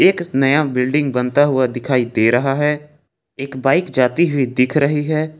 एक नया बिल्डिंग बनता हुआ दिखाई दे रहा है एक बाइक जाती हुई दिख रही है।